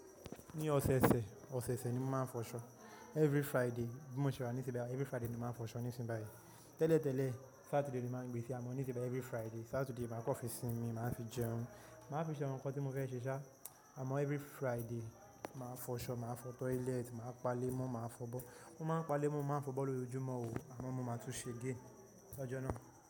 Ní ọ̀sẹ̀ẹ̀sẹ̀, ọ̀sẹ̀ẹ̀sẹ̀ ni mo máa ń fọṣọ. Every Friday bí mo ṣe wà nísínyi báyìí every Friday ni mo máa ń fọṣọ nísinyí báyìí Tẹ́lẹ̀tẹ́lẹ̀ Saturday ni mo máa ń gbé sí ama níṣínyin báyìí every Friday Saturday màá kàn fi sinmi, màá fi jẹun, màá fi ṣe àwọn nǹkan tí mo fẹ́ ṣe ṣá, àmọ́ every Friday màá fọṣọ, màá fọ toilet, màá pa lé mọ́, màá fọbọ. Mọ́ máa ń pa lé mọ́, wọ́n máa ń fọbọ lójoojúmọ́ o, àmọ́ mo máa tún ṣe again ṣáá jọ náà.